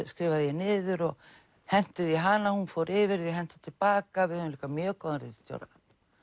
skrifaði ég niður og henti því í hana og hún fór yfir og henti til baka við höfðum líka mjög góðan ritstjóra